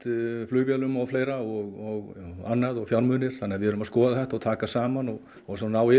flugvélum og fleira og annað fjármunir þannig að við erum að skoða þetta og taka saman og og ná